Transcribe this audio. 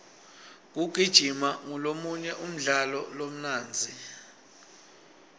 kugijima ngolomunye umdlalo lomnandzi